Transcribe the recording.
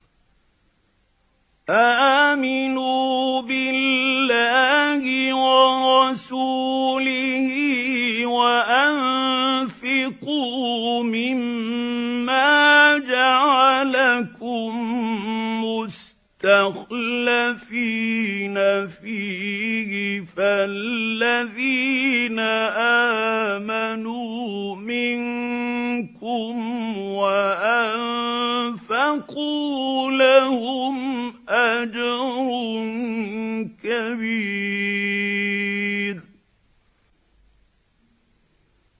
آمِنُوا بِاللَّهِ وَرَسُولِهِ وَأَنفِقُوا مِمَّا جَعَلَكُم مُّسْتَخْلَفِينَ فِيهِ ۖ فَالَّذِينَ آمَنُوا مِنكُمْ وَأَنفَقُوا لَهُمْ أَجْرٌ كَبِيرٌ